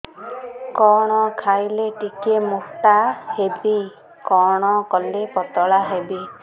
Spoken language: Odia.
କଣ ଖାଇଲେ ଟିକେ ମୁଟା ହେବି କଣ କଲେ ପତଳା ହେବି